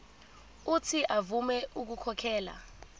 uuthi avume ukukhokhela